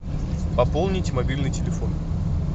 пополнить мобильный телефон